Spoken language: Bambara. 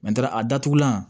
a datugulan